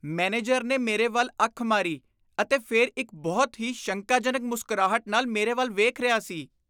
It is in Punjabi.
ਮੈਨੇਜਰ ਨੇ ਮੇਰੇ ਵੱਲ ਅੱਖ ਮਾਰੀ ਅਤੇ ਫਿਰ ਇੱਕ ਬਹੁਤ ਹੀ ਸ਼ੰਕਾਜਨਕ ਮੁਸਕਰਾਹਟ ਨਾਲ ਮੇਰੇ ਵੱਲ ਵੇਖ ਰਿਹਾ ਸੀ।